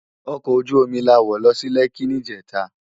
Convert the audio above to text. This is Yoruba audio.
Òkò ójú ómi lá wó lò si Lèki nijètá